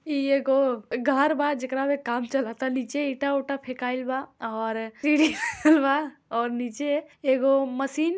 ई एगो घर बा जेकरा मे काम चलत तनी नीचे ईट उटा फेकाएल बा और सीरी बनल बा और नीचे एगो मशीन --